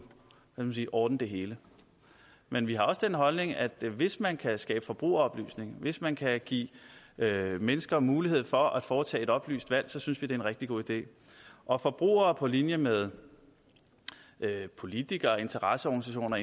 hvad skal man sige ordne det hele men vi har den holdning at hvis man kan skabe forbrugeroplysning hvis man kan give mennesker mulighed for at foretage et oplyst valg så synes vi det er en rigtig god idé og forbrugere på linje med politikere interesseorganisationer